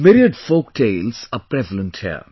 Myriad folk tales are prevalent here